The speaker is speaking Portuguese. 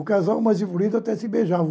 O casal mais evoluído até se beijava.